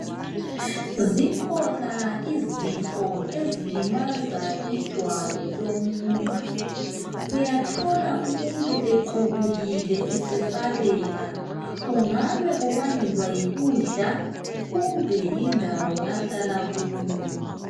Zikhona izifo ezilimaza ijwabu lomuntu. Uyathola umuntu equbukile esesabeka. Kungabe kubangelwa yikudla kumbe yindawo ahlala kuyo.